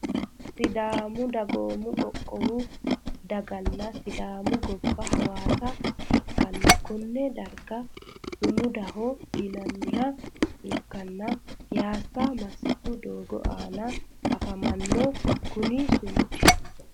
Sidaamu dagoomo qoqqowu daganna sidaami gobba hawassa ikana konne daragano sumudaho yinaniha ikkana piyasa masitu doogo aana afamano kuni sumudi.